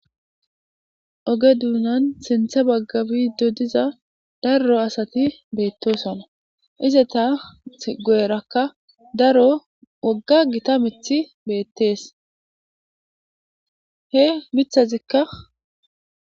Oge duunan sintha baggabi do diza daro asati beettosona ize taa goerakka daro wogga gita mithi beettees he mithazikka.